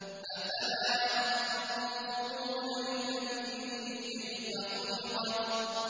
أَفَلَا يَنظُرُونَ إِلَى الْإِبِلِ كَيْفَ خُلِقَتْ